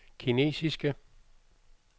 kinesiske